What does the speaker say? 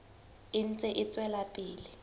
e ntse e tswela pele